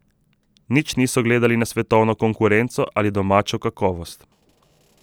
Nič niso gledali na svetovno konkurenco ali domačo kakovost.